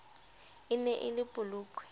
e ne e le polokwe